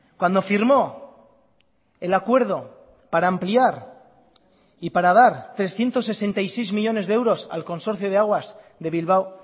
cuando firmó el acuerdo para ampliar y para dar trescientos sesenta y seis millónes de euros al consorcio de aguas de bilbao